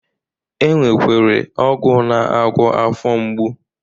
E nwekwere ọgwụ na-agwọ afọ mgbu